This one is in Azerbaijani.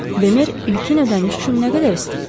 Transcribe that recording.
Bemer ilkin ödəniş üçün nə qədər istəyib?